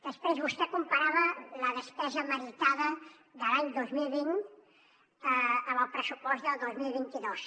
després vostè comparava la despesa meritada de l’any dos mil vint amb el pressupost del dos mil vint dos